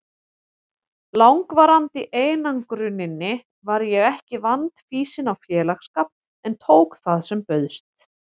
langvarandi einangruninni var ég ekki vandfýsin á félagsskap en tók það sem bauðst.